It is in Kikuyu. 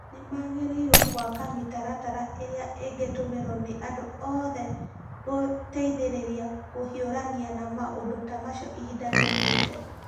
Nĩ magĩrĩirũo gwaka mĩtaratara ĩrĩa ĩngĩtũmĩrwo nĩ andũ othe gũteĩthĩrĩrĩa kũhiũrania na maũndũ ta macio ihinda rĩũkĩte.